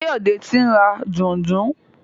Kayode t'in rà Dùndú.